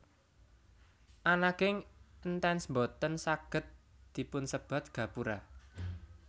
Ananging Entance boten saged dipunsebat gapura